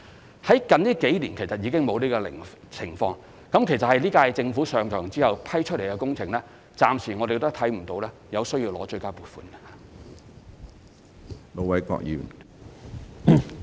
不過，最近數年已再無出現這種情況，其實在本屆政府任期內批出的工程，均暫時未有出現需要爭取追加撥款的情況。